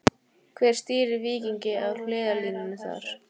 Hver stýrir Víkingi á hliðarlínunni þar?